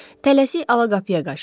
Tələsik alaqapıya qaçdı.